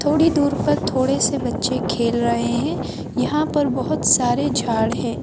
थोड़ी दूर पर थोड़े से बच्चे खेल रहे है यहाँ पर बहोत सारे झाड़ हैं।